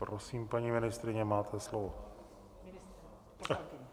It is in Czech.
Prosím, paní ministryně, máte slovo.